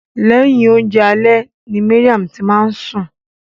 Lẹhin oúnjẹ alẹ́ ni Mariam ti máa ni sun.